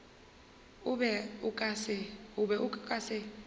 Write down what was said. o be o ka se